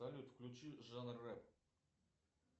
салют включи жанр рэп